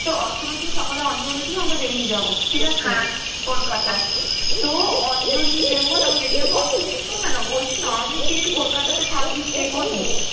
তো অষ্টমীর দিন সকালে অঞ্জলি দিয়ে আমরা বেরিয়ে যাব, ঠিক আছে কলকাতায়. তো অঞ্জলি দেব তারপরে বেরিয়ে যাব, অষ্টমীর শ~ এই শোন না না বলছি নবমীর দিন কি কলকাতাতে থাকবি, stay করবি?